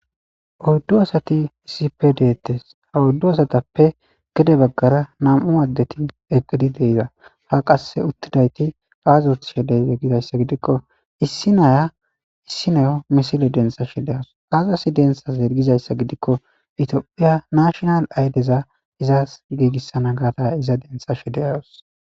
oddu asati issippe deettes ha oddu asatappe gede baggara nam'u addeti eqqidi de'iza ha qase uttidayti aazi othishe de'yo gizayssa gidikko issi naya issi neyo misile dentsa shedeos aazasi denthas ergizayssa gidikko itiophiya nashonal aydeza izas giigissana gaata iza denthashe de'os